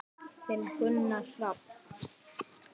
Þinn Gunnar Hrafn.